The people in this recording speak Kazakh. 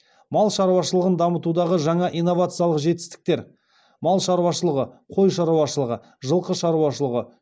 мал шаруашылығын дамытудағы жаңа инновациялық жетістіктер мал шаруашылығы қой шаруашылығы жылқы шаруашылығы